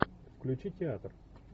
включи театр